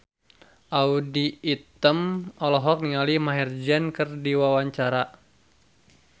Audy Item olohok ningali Maher Zein keur diwawancara